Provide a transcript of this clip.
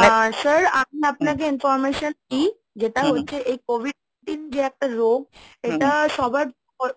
আহ sir আমি আপনাকে Information দিই যেটা হচ্ছে এই COVID Nineteen যেটা একটা রোগ এটা সবার